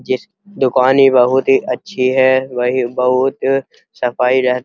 जिस दुकान ही बहुत ही अच्छी है वही बहुत सफाई रहती --